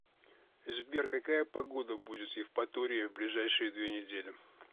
сбер какая погода будет в евпатории в ближайшие две недели